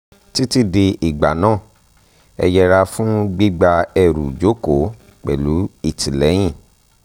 titi di ìgbà náà ẹ yẹra fún gbígba ẹrù jókòó pẹ̀lú ìtìlẹ́yìn